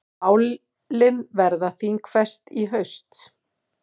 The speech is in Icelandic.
Málin verða þingfest í haust.